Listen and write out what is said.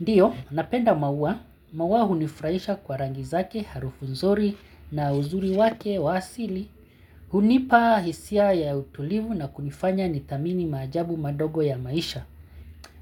Ndiyo, napenda maua, maua hunifurahisha kwa rangi zake harufu nzuri na uzuri wake wa asili. Hunipa hisia ya utulivu na kunifanya ni tamini majabu madogo ya maisha.